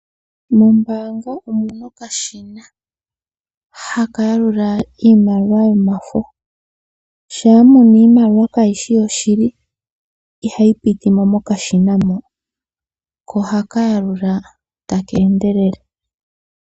Mombaanga omuna okashina haka yalula iimaliwa yomafo. Shaa muna iimaliwa kayishi yoshili itayi pitimo mokashina ho. Ko ohaka yalula taka endelele.